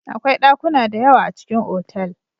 Akwai ɗakuna da yawa a cikin otal.